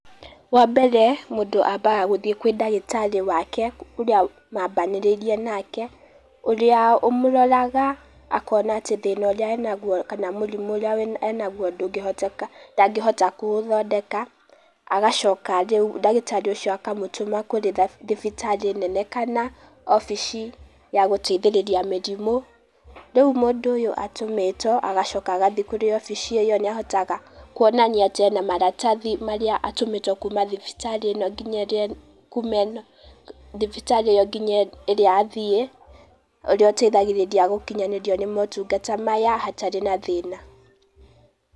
Wa mbere, mũndũ ambaga gũthĩe kwĩ ndagĩtarĩ wake ũrĩa mambanĩrĩirie nake, ũrĩa ũmũroraga akona atĩ thĩna ũrĩa enagũo kama mũrimũ ũrĩa we enagũo ndũgĩhoteka, ndagĩhota kũ ũthondeka. Agacoka rĩũ ndagĩtarĩ ũcĩo akamũtũma kũrĩ thibitarĩ nene kana obici ya gũteithĩrĩria mĩrimũ. Rĩũ mũndũ ũyũ atũmĩtwo, agacoka agathĩe kũrĩ obici ĩo nĩ ahotaga kuonania atĩ ena marabathi marĩa atũmĩtwo kuma thibitarĩ ĩno nginya ĩrĩa kuma ĩno thibitarĩ ĩyo nginya ĩrĩa athĩe, urĩa uteithagĩrĩria gukinyanĩrio nĩ motugata maya hatarĩ na thĩna.